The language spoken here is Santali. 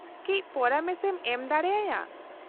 -ᱠᱟᱹᱪ ᱯᱚᱨᱟᱢᱮᱥ ᱮᱢ ᱮᱢ ᱫᱟᱲᱮ ᱟᱭᱟ ?